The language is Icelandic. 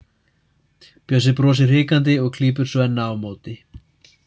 Bjössi brosir hikandi og klípur Svenna á móti.